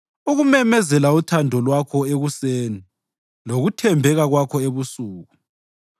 ukumemezela uthando lwakho ekuseni lokuthembeka kwakho ebusuku,